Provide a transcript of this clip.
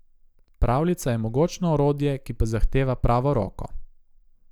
Pravljica je mogočno orodje, ki pa zahteva pravo roko.